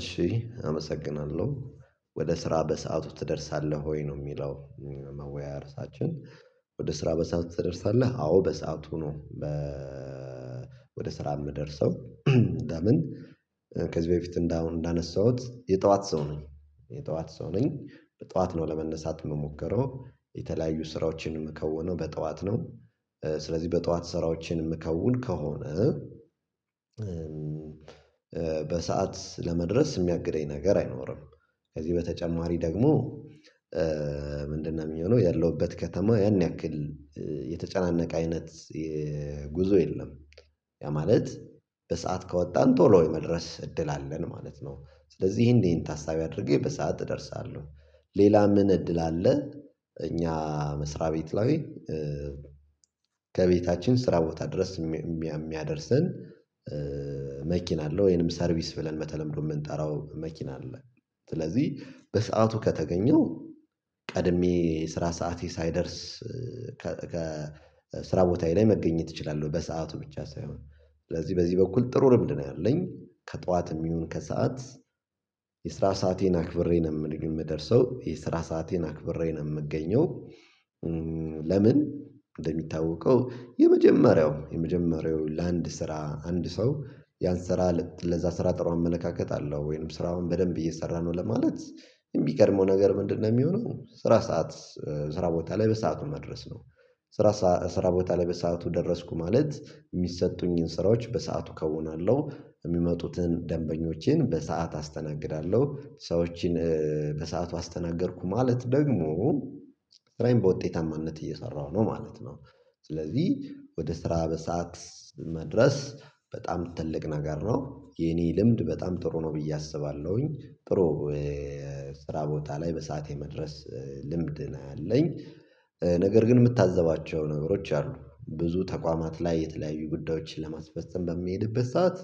እሺ አመሰግናለሁ ወደ ስራ በሰአቱ ትደርሳለህ ወይ ነው የሚለው? መወያያ ርዕሳችን እርሳችን ወደ ስራ በሰአት ትደርሳለህ አዎ በሰአቱ ነው። ወደ ስራ የምደርሰው። ለምን ከዚህ በፊት እንደ አሁን እንዳነሳሁት የጠዋት ሰው ነኝ። የጠዋት ሰው ነኝ በጠዋት ነው ለመነሳት የምሞከረው የተለያዩ ስራዎችን ምከውነው በጠዋት ነው። ስለዚህ በጠዋት ስራዎችን ምከውን ከሆነ በሰአት ለመድረስ የሚያግደኝ ነገር አይኖርም። ከዚህ በተጨማሪ ደግሞ ምንድነው የሚሆነው ያለሁበት ከተማ ያን ያክል የተጨናነቀ አይነት ጉዞ የለም። ያ ማለት በሰአት ከወጣን ቶሎ ወይ መድረስ እድል አለን ማለት ነው። ስለዚህ ይሄን ታሳቢ አድርጌ በሰአት እደርሳለሁ። ሌላ ምን እድል አለ? እኛ መስሪያ ቤት ላይ ከቤታችን ስራ ቦታ ድረስ የሚያደርሰን መኪና አለው ወይንም ሰርቪስ ብለን መተለምዶ የምንጠራው መኪና አለ። ስለዚህ በሰአቱ ከተገኘው ቀድሜ ስራ ሰዓቴ ሳይደርስ ከስራ ቦታዬ ላይ መገኘት እችላለሁ። በሰአቱ ብቻ ሳይሆን ስለዚህ በዚህ በኩል ጥሩ ልምድ ነው ያለኝ ከጠዋትም ይሁን ከሰአት የስራ ሰአቴን አክብሬ ነው የምደርሰው የስራ ሰአቴን አክብሬ ነው የምገኘው። ለምን እንደሚታወቀው የመጀመሪያው የመጀመሪያው ለአንድ ስራ አንድ ሰው ያን ስራ ለዛ ስራ ጥሩ እመለካከትለው ወይንም ስራውን በደንብ እየሰራ ነው ለማለት የሚገርመው ነገር ምንድነው የሚሆነው ስራ ሰዓት ስራ ቦታ ላይ በሰአቱ መድረስ ነው። ስራ ስራ ቦታ ላይ በሰአቱ ደረስኩ ማለት የሚሰጡኝን ስራዎች በሰአቱ ከዉናለሁ የሚመጡትን ደንበኞቼን በሰአት አስተናግዳለሁ ሰዎችን በሰአቱ አስተናገድኩ ማለት ደግሞ ስራዬን በውጤታማነት እየሰራሁ ነው ማለት ነው። ስለዚህ ወደ ስራ በሰአት መድረስ በጣም ትልቅ ነገር ነው የኔ ልምድ በጣም ጥሩ ነው ብዬ አስባለሁኝ ጥሩ ስራ ቦታ ላይ በሰአቴ መድረስ ልምድ ነው ያለኝ። ነገር ግን የምታዘባቸው ነገሮች አሉ ብዙ ተቋማት ላይ የተለያዩ ጉዳዮችን ለማስፈፀም በሚሄድበት ሰዓት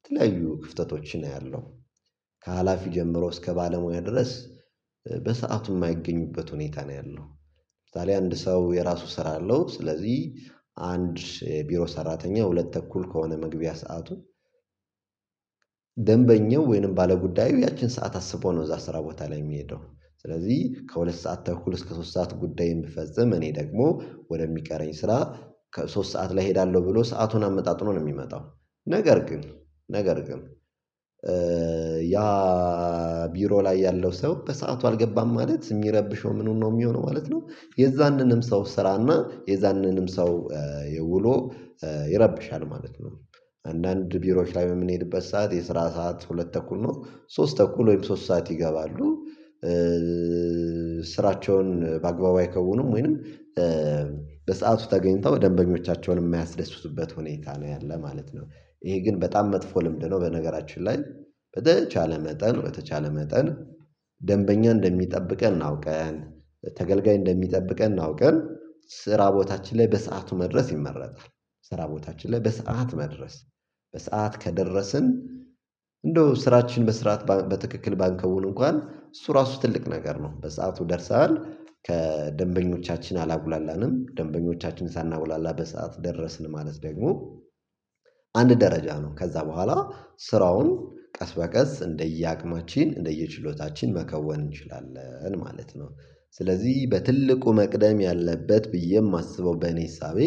የተለያዩ ክፍተቶችን አያለሁ ከሀላፊ ጀምሮ እስከ ባለሙያ ድረስ በሰአቱ የማይገኙበት ሁኔታ ነው ያለው። ለምሳሌ አንድ ሰው የራሱ ስራ አለው ስለዚህ አንድ ቢሮ ሰራተኛ ሁለት ተኩል ከሆነ መግቢያ ሰዓቱ ደንበኛው ወይንም ባለጉዳዩ ያቺን ሰዓት አስቦ ነው እዛ ስራ ቦታ ላይ የሚሄደው። ስለዚህ ከሁለት ሰዓት ተኩል እስከ ሶስት ሰዓት ጉዳዬን ብፈጽም እኔ ደግሞ ወደሚቀረኝ ስራ ከሶስት ሰዓት ላይ እሄዳለሁ ብሎ ሰአቱን አመጣጥኖ ነው የሚመጣው። ነገር ግን ነገር ግን ያ ቢሮ ላይ ያለው ሰው በሰአቱ አልገባም ማለት የሚረብሸው ምኑን ነው የሚሆነው ማለት ነው የዛንንም ሰው ስራና የዛንንም ሰው የውሎ ይረብሻል ማለት ነው። አንዳንድ ቢሮዎች ላይ በምንሄድበት ሰዓት የስራ ሰዓት ሁለት ተኩል ነው ሶስት ተኩል ወይም ሶስት ሰዓት ይገባሉ። ስራቸውን በአግባቡ አይከውኑም ወይንም በሰአቱ ተገኝተው ደንበኞቻቸውንም የሚያስደስቱበት ሁኔታ ነው ያለ ማለት ነው። ይሄ ግን በጣም መጥፎ ልምድ ነው በነገራችን ላይ በተቻለ መጠን በተቻለ መጠን ደንበኛ እንደሚጠብቀን አውቀን ተገልጋይ እንደሚጠብቀን አውቀን ስራ ቦታችን ላይ በሰአቱ መድረስ ይመረጣል። ስራ ቦታችን ላይ በሰአት መድረስ በሰአት ከደረስን እንደው ስራችን በስርዓት በትክክል ባንከውን እንኳን እሱ ራሱ ትልቅ ነገር ነው በሰአቱ ደርሰናል ከደንበኞቻችን አላጉላላንም ደንበኞቻችን ሳናጉላላ በሰአት ደረስን ማለት ደግሞ አንድ ደረጃ ነው ከዛ በኋላ ስራውን ቀስ በቀስ እንደየ አቅማችን እንደየችሎታችን መከወን እንችላለን ማለት ነው። ስለዚህ በትልቁ መቅደም ያለበት ብዬ የማስበው በኔ እሳቤ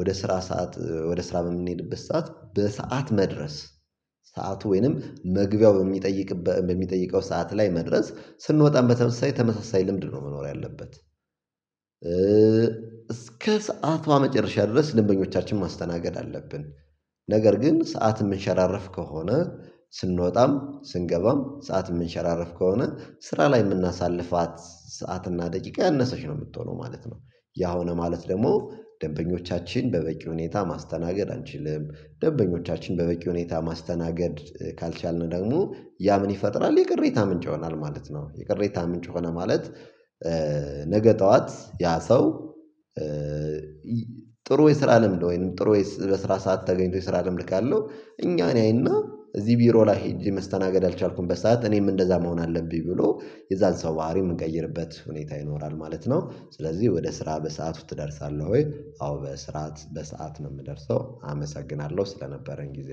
ወደ ስራ ሰዓት ወደ ስራ የምንሄድበት ሰዓት በሰአት መድረስ ሰዓቱ ወይንም መግቢያው በሚጠይቅበት በሚጠይቀው ሰዓት ላይ መድረስ ስንወጣም በተመሳሳይ ተመሳሳይ ልምድ ነው መኖር ያለበት። እስከ ሰዓቷ መጨረሻ ድረስ ደንኞቻችንን ማስተናገድ አለብን። ነገር ግን ሰዓት የምንሸራረፍ ከሆነ ስንወጣም ስንገባም ሰዓት የምንሸራረፍ ከሆነ ስራ ላይ የምናሳልፋት ሰዓትና ደቂቃ ያነሰች ነው የምትሆነው ማለት ነው። ያ ሆነ ማለት ደግሞ ደንበኞቻችን በበቂ ሁኔታ ማስተናገድ አንችልም ደበኞቻችን በበቂ ሁኔታ ማስተናገድ ካልቻልን ደግሞ ያ ምን ይፈጥራል የቅሬታ ምንጭ ይሆናል ማለት ነው የቅሬታ ምንጭ ሆነ ማለት። ነገ ጠዋት ያ ሰው ጥሩ የስራ ለምድ ወይንም ጥሩ በስራ ሰዓት ተገኝቶ የስራ ለምን እልካለሁ እኛን ያይና እዚህ ቢሮ ላይ ሄጄ መስተናገድ አልቻልኩም በሰአት እኔም እንደዛ መሆን አለብኝ ብሎ የዛን ሰው ባህሪ እምንቀይርበት ሁኔታ ይኖራል ማለት ነው። ስለዚህ ወደ ስራ በሰአቱ ትደርሳለህ ወይ አዎ በስርዓት በሰአት ነው የምደርሰው። አመሰግናለሁ ስለነበረን ጊዜ